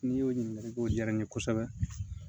N'i y'o ɲininkaliw diyara n ye kosɛbɛ